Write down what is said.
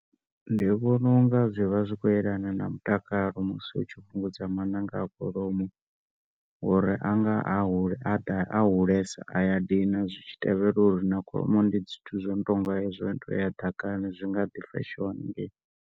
Ndi vhona unga zwivha zwi khou yelana na mutakalo musi u tshi fhungudza maṋanga a kholomo uri ngauri anga a hulesa zwi ya dina ngauri na kholomo ndi zwithu zwo no tou yela ḓakani zwi nga ḓi fashiwa hanengei.